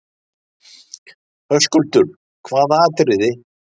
Höskuldur: Hvaða atriðið?